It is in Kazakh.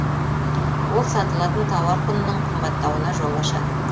ол сатылатын тауар құнының қымбаттауына жол ашады